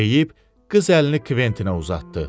deyib qız əlini Kventinə uzatdı.